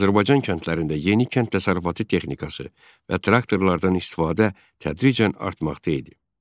Azərbaycan kəndlərində yeni kənd təsərrüfatı texnikası və traktorlardan istifadə tədricən artmaqda idi.